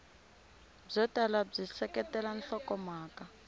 byo tala byi seketela nhlokomhaka